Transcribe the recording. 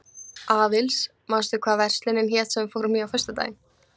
Aðils, manstu hvað verslunin hét sem við fórum í á föstudaginn?